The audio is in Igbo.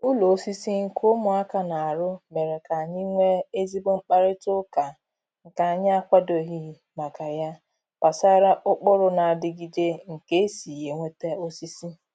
Ụlọ osisi nke ụmụaka na-arụ mere k'anyị nwee ezigbo mkparịta ụka nke anyị akwadoghị maka ya gbasara ụkpụrụ na-adịgịde nke e si enweta osisi.